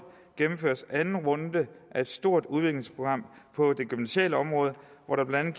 gennemføres anden runde af et stort udviklingsprogram på det gymnasiale område hvor der blandt